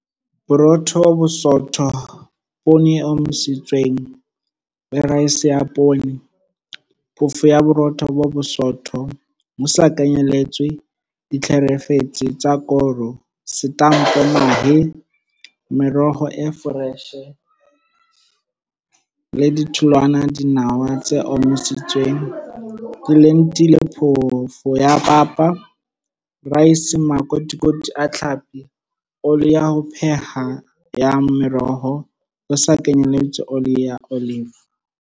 Borotho bo bosootho Poone e omisitsweng le raese ya poone Phoofo ya Borotho bo bosootho, ho sa kenyeletswe ditlheferetsi tsa koro. Setampo Mahe Meroho e foreshe le ditholwana Dinawa tse omisitsweng Dilentile Phofo ya papa Raese Makotikoti a tlhapi Oli ya ho pheha ya meroho, ho sa kenyeletswe oli ya olive.